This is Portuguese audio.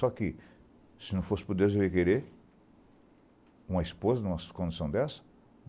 Só que, se não fosse por Deus, eu ia querer uma esposa em umas condição dessa?